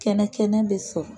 Kɛnɛ kɛnɛ bɛ sɔrɔ.